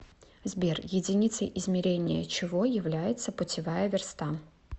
сбер единицей измерения чего является путевая верста